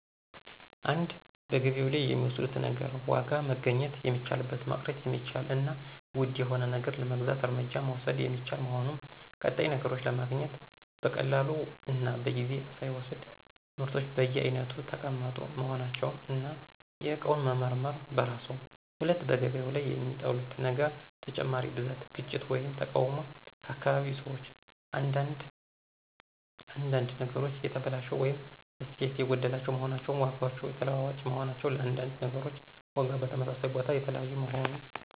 1. በገበያው ላይ የሚወዱት ነገር ዋጋ መገናኘት የሚቻልበት፣ መቅረት የሚቻል እና ውድ የሆነ ነገር ለመግዛት እርምጃ መውሰድ የሚቻል መሆኑ። ቀጣይ ነገሮችን ማግኘት (በቀላሉ እና በጊዜ ሳይወሰድ)። ምርቶች በየአይነቱ ተቀመጡ መሆናቸው፣ እና የእቃውን መመርመር በራስዎ 2. በገበያው ላይ የሚጠሉት ነገር ተጨማሪ ብዛት፣ ግጭት ወይም ተቃውሞ ከአካባቢ ሰዎች። አንዳንድ አንዳንድ ነገሮች የተበላሸ ወይም እሴት የጐደለባቸው መሆናቸው። ዋጋዎች የተለዋዋጭ መሆናቸው፣ ለአንዳንድ ነገሮች ዋጋ በተመሳሳይ ቦታ የተለያዩ መሆኑ።